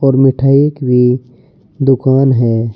और मिठाई की दुकान है।